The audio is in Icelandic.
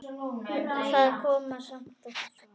Það kom samt ekkert svar.